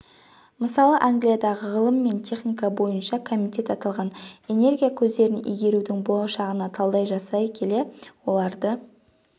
мысалы англиядағы ғылым мен техника бойынша комитет аталған энергия көздерін игерудің болашағына талдау жасай келе оларды